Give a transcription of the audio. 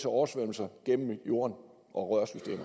oversvømmelser gennem jorden og